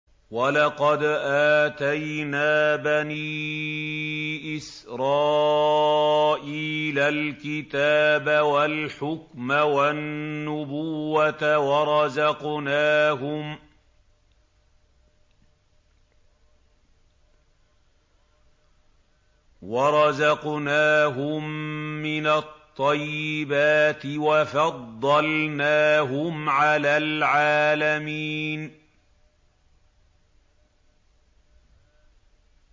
وَلَقَدْ آتَيْنَا بَنِي إِسْرَائِيلَ الْكِتَابَ وَالْحُكْمَ وَالنُّبُوَّةَ وَرَزَقْنَاهُم مِّنَ الطَّيِّبَاتِ وَفَضَّلْنَاهُمْ عَلَى الْعَالَمِينَ